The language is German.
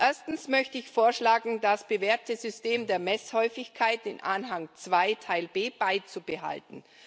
Erstens möchte ich vorschlagen, das bewährte System der Messhäufigkeit, den Anhang II Teil B, beizubehalten.